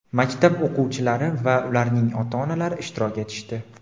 maktab o‘quvchilari va ularning ota-onalari ishtirok etishdi.